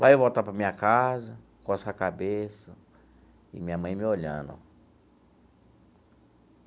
Vai voltar para a minha casa coçando a cabeça e minha mãe me olhando.